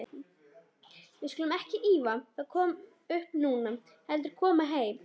Við skulum ekki ýfa það upp núna, heldur koma heim.